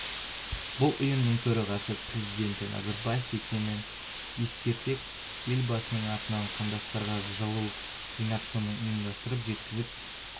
бұл ұйымның төрағасы президенті назарбаев екенін ескерсек елбасының атынан қандастарға жылу жинап соны ұйымдастырып жеткізіп